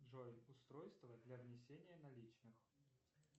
джой устройство для внесения наличных